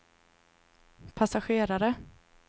passagerare